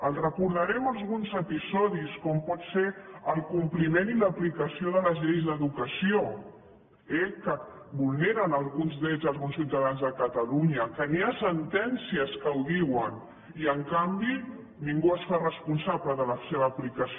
els recordarem alguns episodis com pot ser el compliment i l’aplicació de les lleis d’educació eh que vulneren alguns drets d’alguns ciutadans de catalunya que hi ha sentències que ho diuen i en canvi ningú es fa responsable de la seva aplicació